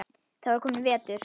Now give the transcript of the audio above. Það var kominn vetur.